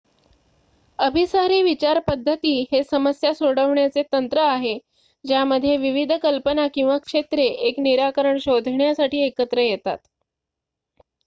अभिसारी विचार पद्धती हे समस्या सोडवण्याचे तंत्र आहे ज्यामध्ये विविध कल्पना किंवा क्षेत्रे एक निराकरण शोधण्यासाठी एकत्र येतात